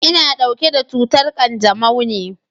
Ina ɗauke da cutar ƙanjamau ne.